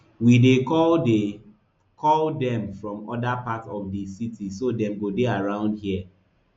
we dey call dey call dem from oda parts of di city so dem go dey around here